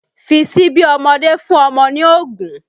Fi síbí ọmọdé fún ọmọ ní oògùn